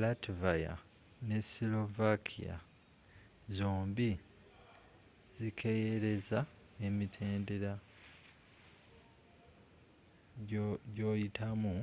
latvia ne slovakia zombie zikereyeza emitendera gyoyitamu